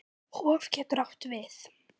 Hof getur átt við